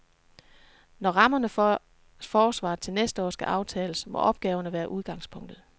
Når rammerne for forsvaret til næste år skal aftales, må opgaverne være udgangspunktet.